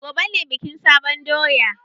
Gobe ne bikin sabon doya.